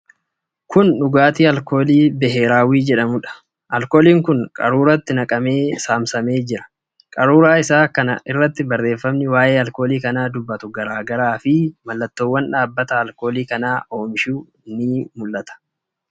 Kun dhugaatii alkoolii biheeraawwii jedhamuudha. Alkooliin kun qaruuratti naqamee saamsamee jira. Qaruuraa isaa kana irratti barreefamni waa'ee alkoolii kanaa dubbatu garaa garaa fi mallattoowwan dhaabbata alkooliii kana oomishuu ni argamu.